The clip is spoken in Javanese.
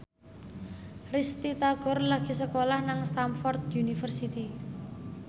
Risty Tagor lagi sekolah nang Stamford University